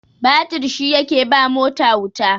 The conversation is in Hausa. batir shi yake ba mota wuta